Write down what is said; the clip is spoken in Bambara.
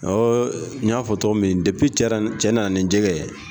Ɔ n y'a fɔ cogo min cɛ nana ni jɛgɛ ye